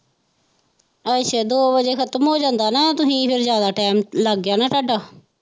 ਅੱਛਾ ਦੋ ਵਜੇ ਖਤਮ ਹੋ ਜਾਂਦਾ ਨਾ ਤੁਸੀਂ ਫਿਰ ਜਿਆਦਾ ਟਾਇਮ ਲੱਗ ਗਿਆ ਨਾ ਤੁਹਾਡਾ।